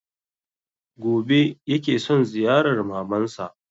Gobe ya ke son ziyarar maman sa